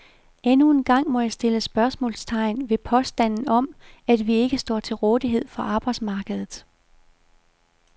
Endnu en gang må jeg stille spørgsmålstegn ved påstanden om, at vi ikke står til rådighed for arbejdsmarkedet.